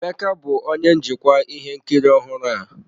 Emeka bụ onye njikwa mmepụta ihe nkiri ọhụrụ a.